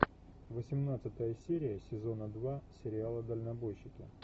восемнадцатая серия сезона два сериала дальнобойщики